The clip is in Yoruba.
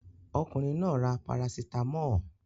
Ọkùnrin náà ra parasítámọ̀.